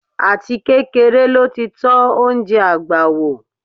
Àtikékeré ló ti tọ́ oúnjẹ àgbà wò.